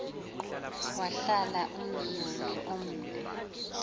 wahlala umzuzu omde